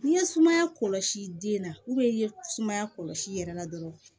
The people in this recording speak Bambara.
N'i ye sumaya kɔlɔsi den na i ye sumaya kɔlɔsi i yɛrɛ la dɔrɔn